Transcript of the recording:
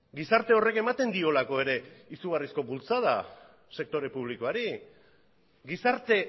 gizarte horrek ematen diolako ere izugarrizko bultzada sektore publikoari gizarte